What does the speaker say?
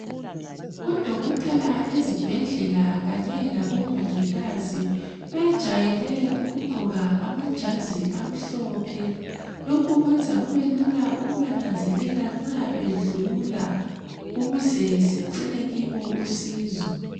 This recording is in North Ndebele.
Odokotela ezibhedlela kanye labomongikazi bajayele ukugqoka amajazi amhlophe. Lokhu kwenza kube lula ukubananzelela nxa bedlula ukuze sicele kibo usizo.